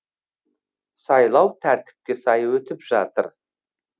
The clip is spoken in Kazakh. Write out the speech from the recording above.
сайлау тәртіпке сай өтіп жатыр